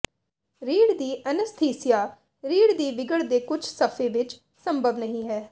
ਰੀੜ੍ਹ ਦੀ ਅਨੱਸਥੀਸੀਆ ਰੀੜ੍ਹ ਦੀ ਵਿਗੜ ਦੇ ਕੁਝ ਸਫੇ ਵਿੱਚ ਸੰਭਵ ਨਹੀ ਹੈ